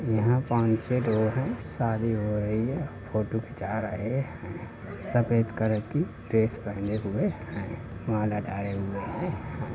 यहाँ पाँच छः डोर है शादी हो रही है फ़ोटो खींचा रहे हैं। सफेद कलर की ड्रेस पहने हुए हैं माला डाले हुए है।